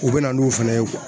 U bɛ na n'u fana ye